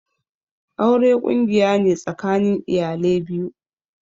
Aure ƙungiya ne tsakanin iyale biyu.